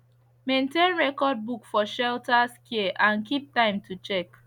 maintain record book for shelters care and keep time to check